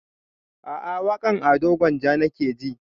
A'a waƙan ado gwanja nake ji